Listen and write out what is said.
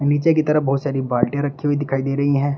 नीचे की तरफ बहुत सारी बाल्टियां रखी हुई दिखाई दे रही हैं।